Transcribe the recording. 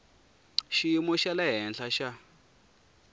xiyimo xa le henhla va